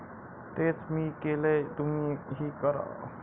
तेच मी केलंय, तुम्हीही करा.